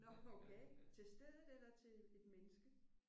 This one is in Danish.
Nå okay. Til stedet eller til et menneske?